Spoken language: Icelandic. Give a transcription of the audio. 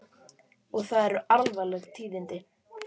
Og það eru alvarleg tíðindi.